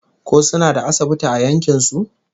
Ko suna da asibiti a yankin su?